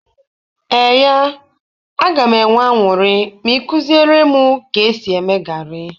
Eee ya, a ga m enwe añụrị ma ikuziere m ka esi eme gari